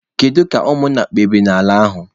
Gịnị ka ụmụ nna kpebiri n'ala ahụ?